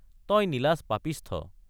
তই নিলাজ পাপিষ্ঠ।